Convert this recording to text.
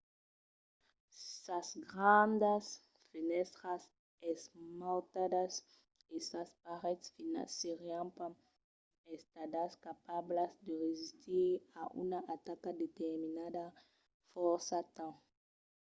sas grandas fenèstras esmautadas e sas parets finas serián pas estadas capablas de resistir a una ataca determinada fòrça temps